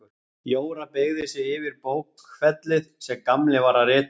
Jóra beygði sig yfir bókfellið sem Gamli var að rita á.